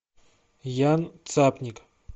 ян цапник